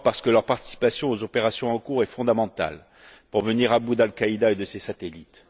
Leur participation aux opérations en cours est en effet fondamentale pour venir à bout d'Al Qaïda et de ses satellites.